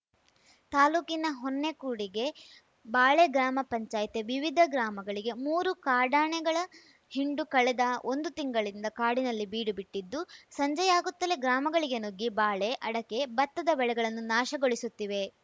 ತಾಲೂಕಿನ ಹೊನ್ನೆಕೊಡಿಗೆ ಬಾಳೆ ಗ್ರಾಮ ಪಂಚಾಯ್ತಿಯ ವಿವಿಧ ಗ್ರಾಮಗಳಿಗೆ ಮೂರು ಕಾಡಾನೆಗಳ ಹಿಂಡು ಕಳೆದ ಒಂದು ತಿಂಗಳಿಂದ ಕಾಡಿನಲ್ಲಿ ಬೀಡು ಬಿಟ್ಟಿದ್ದು ಸಂಜೆಯಾಗುತ್ತಲೇ ಗ್ರಾಮಗಳಿಗೆ ನುಗ್ಗಿ ಬಾಳೆ ಅಡಕೆ ಬತ್ತದ ಬೆಳೆಗಳನ್ನು ನಾಶಗೊಳಿಸುತ್ತಿವೆ